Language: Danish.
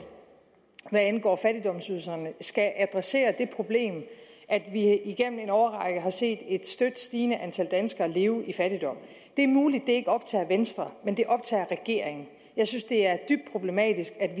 hvad angår fattigdomsydelserne skal adressere det problem at vi igennem en årrække har set et støt stigende antal danskere leve i fattigdom det er muligt det ikke optager venstre men det optager regeringen jeg synes det er dybt problematisk at vi